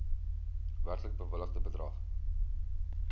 werklik bewilligde bedrag